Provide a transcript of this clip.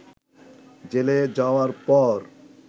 জেলে যাওয়ার পর